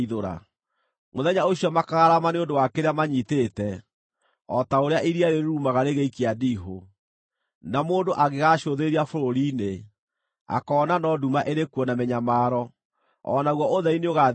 Mũthenya ũcio makaararama nĩ ũndũ wa kĩrĩa manyiitĩte, o ta ũrĩa iria rĩrurumaga rĩgĩikia ndiihũ. Na mũndũ angĩgaacũthĩrĩria bũrũri-inĩ, akoona no nduma ĩrĩ kuo na mĩnyamaro, o naguo ũtheri nĩũgaathiĩkwo nĩ matu.